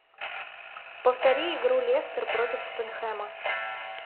повтори игру лестер против тоттенхэма